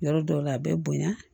Yɔrɔ dɔw la a bɛ bonya